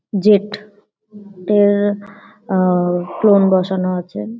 Jet - এর-এ আ-আ clone বসানো আছে।